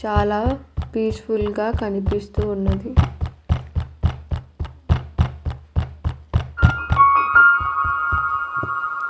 చాలా peaceful గా కనిపిస్తూ ఉన్నది.